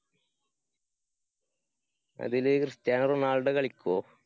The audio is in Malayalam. അതില് ക്രിസ്റ്റ്യാനോ റൊണാള്‍ഡോ കളിക്കോ?